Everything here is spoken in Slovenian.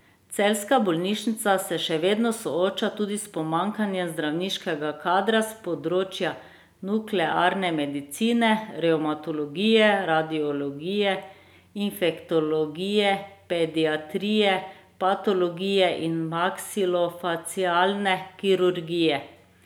Celjska bolnišnica se še vedno sooča tudi s pomanjkanjem zdravniškega kadra s področja nuklearne medicine, revmatologije, radiologije, infektologije, pediatrije, patologije in maksilofacialne kirurgije.